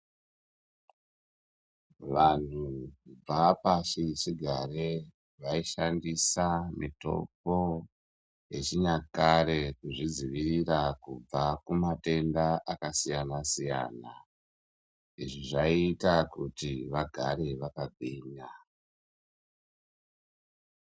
Vantu vapasi chigare vaishandisa mitombo yechi nyakare kuzvidzivirira kubva ku matenda aka siyana siyana izvi zvaiita kuti vagare vaka gwinya.